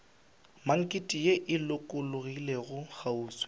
maknete ye e lokologilego kgauswi